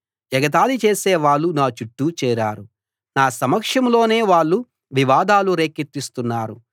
ఎగతాళి చేసేవాళ్ళు నా చుట్టూ చేరారు నా సమక్షంలోనే వాళ్ళు వివాదాలు రేకెత్తిస్తున్నారు